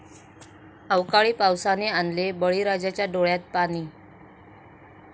अवकाळी पावसाने आणले बळीराजाच्या डोळ्यात पाणी!